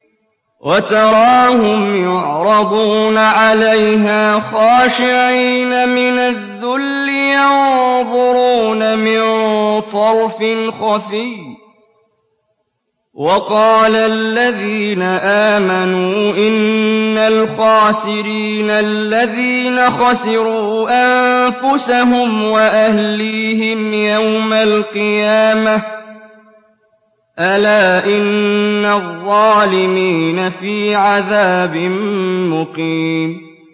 وَتَرَاهُمْ يُعْرَضُونَ عَلَيْهَا خَاشِعِينَ مِنَ الذُّلِّ يَنظُرُونَ مِن طَرْفٍ خَفِيٍّ ۗ وَقَالَ الَّذِينَ آمَنُوا إِنَّ الْخَاسِرِينَ الَّذِينَ خَسِرُوا أَنفُسَهُمْ وَأَهْلِيهِمْ يَوْمَ الْقِيَامَةِ ۗ أَلَا إِنَّ الظَّالِمِينَ فِي عَذَابٍ مُّقِيمٍ